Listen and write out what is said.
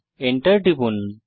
Enter টিপুন